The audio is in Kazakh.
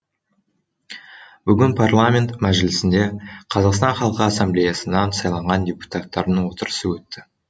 бүгін парламент мәжілісінде қазақстан халқы ассамблеясынан сайланған депутаттардың отырысы өтті